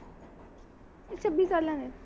ਏਹ ਛੱਬੀ ਸਾਲਾਂ ਦੀ ਐ